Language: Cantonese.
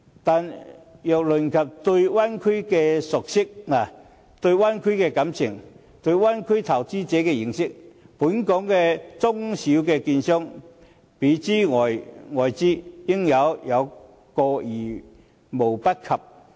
然而，如論及對灣區的熟悉，對灣區的感情，對灣區投資者的認識，本港的中小券商，比諸於外資，應是有過之而無不及。